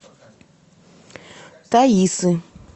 таисы